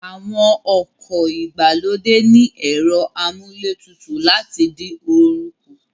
Àwọn ọkọ̀ ìgbàlódé ní ẹ̀rọ amúlé tutù láti dín oorun kù